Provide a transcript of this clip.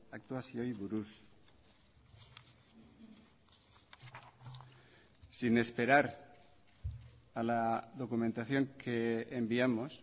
aktuazioei buruz sin esperar a la documentación que enviamos